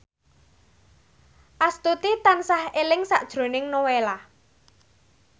Astuti tansah eling sakjroning Nowela